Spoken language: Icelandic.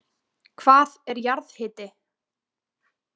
Hvað er jarðhiti?